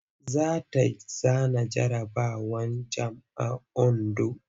Za ta zana jarabawar jamb a Ondo.